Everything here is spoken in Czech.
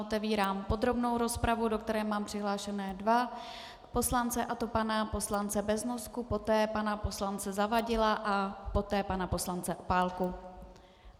Otevírám podrobnou rozpravu, do které mám přihlášené dva poslance, a to pana poslance Beznosku, poté pana poslance Zavadila a poté pana poslance Opálku.